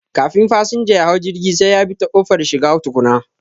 Kafin fasanja yahau jirgi sai yabi ta ƙofar shiga tukuna